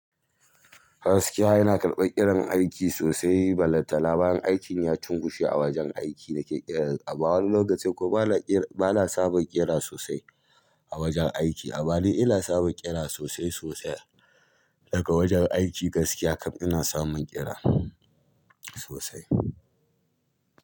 Gaskiya yana karɓar irin aiki sosai, balatana ma in aiki ya cunkushe a wajen aiki nake kiran a wani lokaci ko bana saba kira sosai a wajen aiki. Amma ni ina samun kira sosai sosai daga wajen aiki gaskiya kam ina samun kira sosai.